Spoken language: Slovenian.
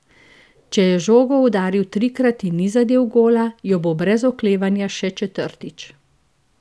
Če je žogo udaril trikrat in ni zadel gola, jo bo brez oklevanja še četrtič.